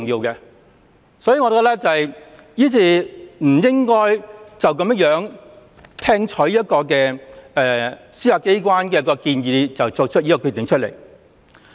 因此，我們不應該隨便聽取一個司法機關的建議便作出決定。